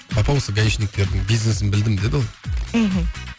папа ау осы гаишниктердің бизнесін білдім деді ол мхм